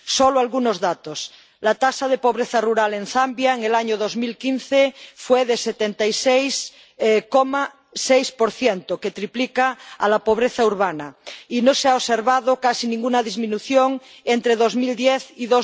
Solo algunos datos la tasa de pobreza rural en Zambia en el año 2015 fue del 76,6 lo que triplica la pobreza urbana, y no se ha observado casi ninguna disminución entre 2010 y